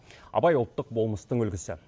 абай ұлттық болмыстың үлгісі